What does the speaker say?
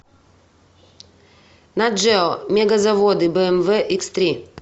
наджео мегазаводы бмв икс три